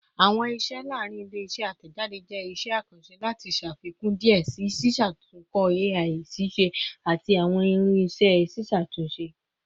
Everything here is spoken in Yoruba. Awọn iṣẹ laarin ile-iṣẹ atẹjade jẹ iṣẹ akanṣe lati ṣafikun diẹ sii ṣiṣatunkọ AI-ṣiṣẹ ati awọn irinṣẹ ṣiṣatunṣe